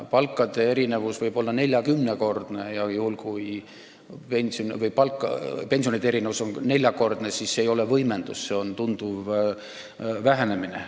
Palkade erinevus võib olla 40-kordne ja kui pensionide erinevus on neljakordne, siis see ei ole võimendus, see on tunduv vähenemine.